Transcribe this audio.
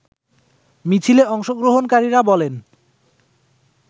মিছিলে অংশগ্রহণকারীরা বলেন